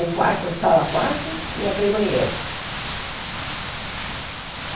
O quarto, o sala quarto e aquele banheiro.